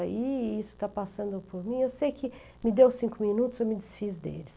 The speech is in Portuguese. E isso está passando por mim, eu sei que me deu cinco minutos, eu me desfiz deles.